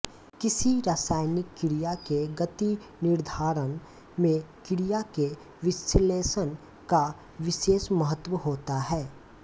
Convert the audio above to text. किसी रासायनिक क्रिया के गतिनिर्धारण में क्रिया के विश्लेषण का विशेष महत्व होता है